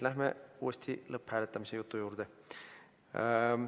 Lähme uuesti lõpphääletamise jutu juurde.